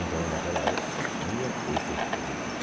Então, em naquela época, tinha esse esse tipo.